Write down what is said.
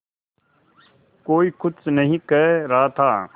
कोई कुछ नहीं कह रहा था